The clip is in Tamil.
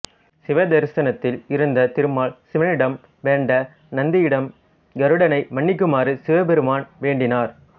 சிவதரிசனத்தில் இருந்த திருமால் சிவனிடம் வேண்ட நந்தியிடம் கருடனை மன்னிக்குமாறு சிவபெருமான் வேண்டினார்